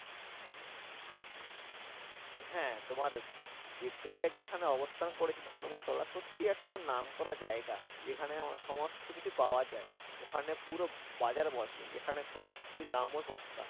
হ্যাঁ তোমার ভিক্টোরিয়া যেখানে অবস্থান করেছে ধর্মতলা সত্যি একটা নাম করা জায়গা। যেখানে সমস্ত কিছু পাওয়া যায়। ওখানে পুরো বাজার বসে যেখানে খুবই দামও সস্তা